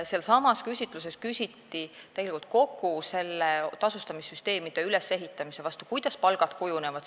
Sellessamas küsitluses küsiti tasustamissüsteemide ülesehitamise kohta, selle kohta, kuidas palgad kujunevad.